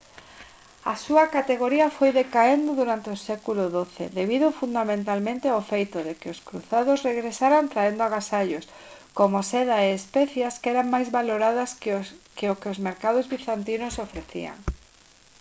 a súa categoría foi decaendo durante o século xii debido fundamentalmente ao feito de que os cruzados regresaran traendo agasallos como seda e especias que eran máis valoradas que o que os mercados bizantinos ofrecían